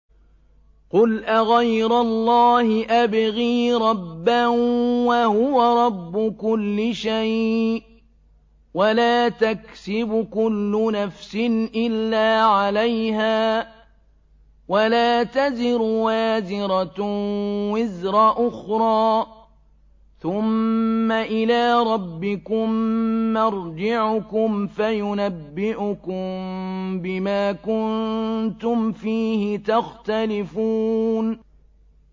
قُلْ أَغَيْرَ اللَّهِ أَبْغِي رَبًّا وَهُوَ رَبُّ كُلِّ شَيْءٍ ۚ وَلَا تَكْسِبُ كُلُّ نَفْسٍ إِلَّا عَلَيْهَا ۚ وَلَا تَزِرُ وَازِرَةٌ وِزْرَ أُخْرَىٰ ۚ ثُمَّ إِلَىٰ رَبِّكُم مَّرْجِعُكُمْ فَيُنَبِّئُكُم بِمَا كُنتُمْ فِيهِ تَخْتَلِفُونَ